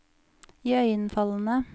iøynefallende